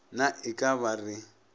na e ka ba re